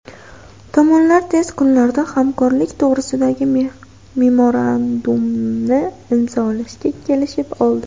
Tomonlar tez kunlarda hamkorlik to‘g‘risidagi memorandumni imzolashga kelishib oldi.